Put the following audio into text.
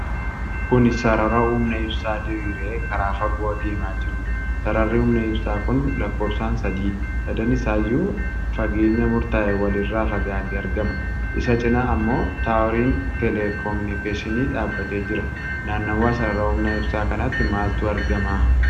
Kuni sarara humna ibsaa diriiree karaa fagoo deemaa jirudha. Sararri humna ibsaa kun lakkoofsaan sadiidha. Sadan isaayyuu ageenya murtaa'e wal irraa fagaatee argama. Isa cinaa ammoo taaworiin telekominikeeshinii dhaabatee jira. Naannawa sarara humna ibsaa kanaatti maaltu argama?